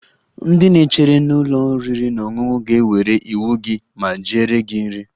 Ndị na-echere Na ụlọ oriri na ọṅụṅụ ga-ewere iwu gị ma jeere gị nri